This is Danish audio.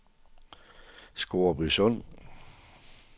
Scoresbysund